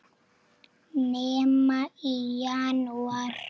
Nema í janúar.